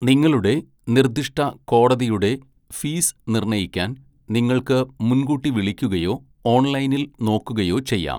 നിങ്ങളുടെ നിർദ്ദിഷ്ട കോടതിയുടെ ഫീസ് നിർണ്ണയിക്കാൻ, നിങ്ങൾക്ക് മുൻകൂട്ടി വിളിക്കുകയോ ഓൺലൈനിൽ നോക്കുകയോ ചെയ്യാം.